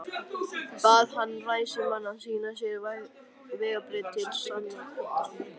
Bað hann ræðismanninn að sýna sér vegabréf til sannindamerkis.